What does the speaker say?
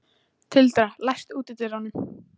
Tildra, læstu útidyrunum.